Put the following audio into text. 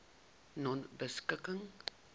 nonebeskikking